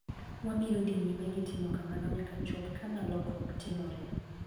Wabiro dhi nyime gi timo kamano nyaka chop kama lokruok timoree.'